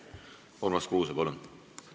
Urmas Kruuse, palun!